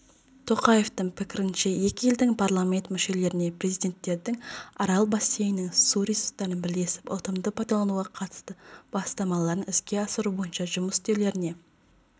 тоқаевтың пікірінше екі елдің парламент мүшелеріне президенттердің арал бассейнінің су ресурстарын бірлесіп ұтымды пайдалануға қатысты бастамаларын іске асыру бойынша жұмыс істеулеріне